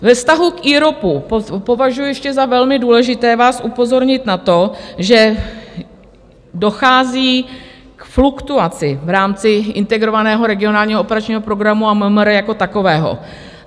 Ve vztahu k IROPu považuji ještě za velmi důležité vás upozornit na to, že dochází k fluktuaci v rámci Integrovaného regionálního operačního programu a MMR jako takového.